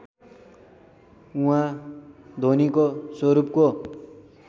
उहाँ ध्वनीको स्वरूपको